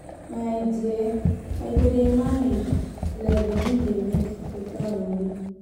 My dear, I go dey manage till I begin dey make beta moni.